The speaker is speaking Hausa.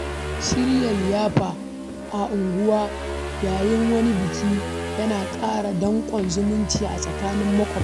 Shirya liyafa a unguwa yayin wani biki yana ƙara danƙon zumunci a tsakanin maƙwabta.